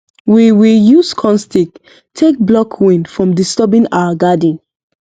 we we use corn stick take block wind from disturbing our garden